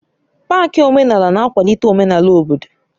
Pááki omenala na-akwalite omenala obodo